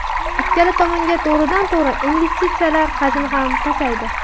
Ikkala tomonga to‘g‘ridan to‘g‘ri investitsiyalar hajmi ham pasaydi.